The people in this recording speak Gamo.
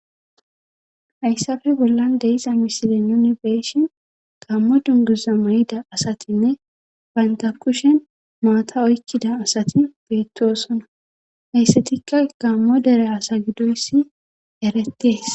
Hayssafe bollan deiza misile nuni beeshin gammo dunguza may'ida asatinne bantakushen maata oykkida asati beettoosona hayssatikka gammo dere asa gidoyssi erettees